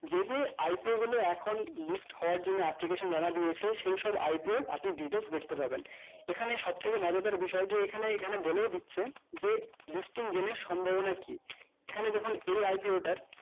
যে যে IPO গুলো এখন list হওয়ার জন্য application জমা দিয়েছে সেইসব IPO র আপনি details দেখতে পাবেন এখানে সব থেকে মজাদার বিষয় যে এখানে এখানে বলেও দিচ্ছে যে lipsting daily র সম্ভাবনা কি এখানে দেখুন এই IPO টার